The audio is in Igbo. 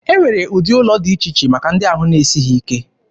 E nwere ụdị ụlọ dị iche iche maka ndị ahụ na-esighị ike.